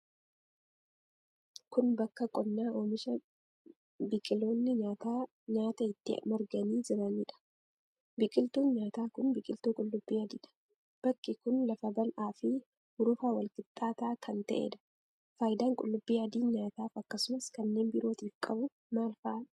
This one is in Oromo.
Kun, bakka qonnaa oomisha biqiloonni nyaataa nyaataa itti marganii jiranii dha. Biqiltuun, nyaataa kun biqiltuu qulluubbii adii dha. Bakki kun, lafa bal'aa fi hurufa walqixxaataa kan ta'ee dha. Faayidaan qullubbii adiin nyaataaf akkasumas kanneen birootif qabu maal faa dha?